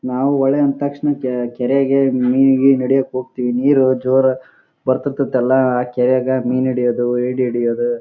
ನಾವು ಹೊಳೆ ಅಂದ ತಕ್ಷಣ ಕೆ ಕೆರೆಗೆ ಮಿನ್ ಗಿನ್ ಹಿಡಿಯೋಕ್ಕೆ ಹೋಗತೀವಿ ನೀರು ಜೋರ್ ಆ ಬರ್ತತ್ತೆ ಎಲ್ಲ ಆ ಕೆರೆಗ ಮಿನ್ ಹಿಡಿಯೋದು ಏಡಿ ಹಿಡಿಯೋದು--